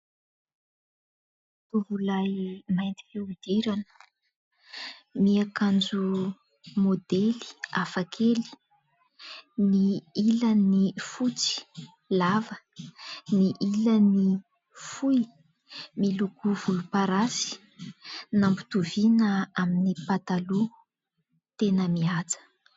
Tovolahy mainty fihodirana miakanjo maodely hafakely : ny ilany fotsy lava, ny ilany fohy miloko volomparasy nampitoviana amin'ny pataloha, tena mihaja.